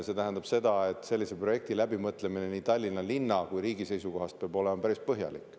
See tähendab seda, et sellise projekti läbimõtlemine nii Tallinna linna kui ka riigi seisukohast peab olema päris põhjalik.